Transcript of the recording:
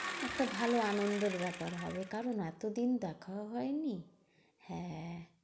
একটা ভালো আনন্দর ব্যাপার হবে। কারণ এত দিন দেখাও হয়নি হ্যাঁ হ্যাঁ